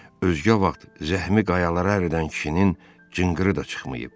Özgə vaxt zəhmi qayalara əridən kişinin cınqırı da çıxmayıb.